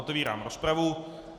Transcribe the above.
Otevírám rozpravu.